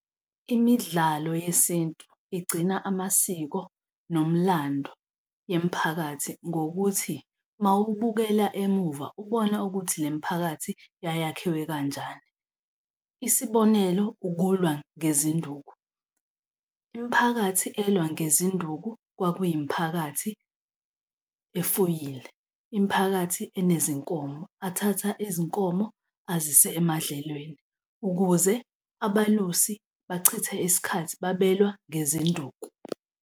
Imidlalo yesintu igcina amasiko nomlando yemiphakathi ngokuthi uma ubukela emuva, ubona ukuthi le miphakathi yayakhiwe kanjani, isibonelo, ukulwa ngezinduku. Imiphakathi elwa ngezinduku kwakuyimiphakathi efuyile. Imiphakathi enezinkomo, athatha izinkomo azise emadlelweni. Ukuze abalusi bachithe isikhathi babelwa ngezinduku.